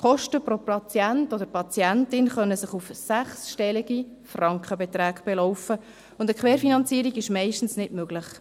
Die Kosten pro Patient oder Patientin können sich auf sechsstellige Frankenbeträge belaufen, und eine Querfinanzierung ist meistens nicht möglich.